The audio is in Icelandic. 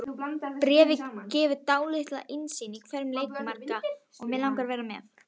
Bréfið gefur dálitla innsýn í veruleika margra.